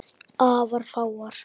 Afar fáar.